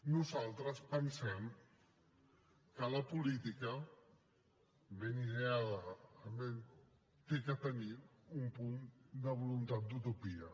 nosaltres pensem que la política ben ideada ha de tenir un punt de voluntat d’utopia